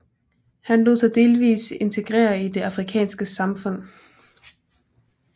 Han lod sig delvis integrere i det afrikanske samfund